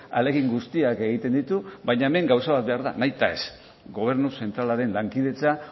ahalegin guztiak egiten ditu baina hemen gauza bat behar da nahitaez gobernu zentralaren lankidetza